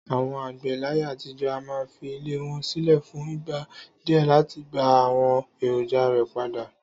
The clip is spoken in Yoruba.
Àwo̩n àgbè̩ láyé àtijó̩ a máa fi ilè̩ wo̩n sílè̩ fún ìgbà díè láti gba àwo̩n èròjà rè̩ padà